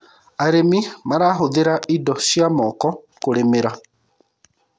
arĩmi marahuthira indo cia moko kũrĩmira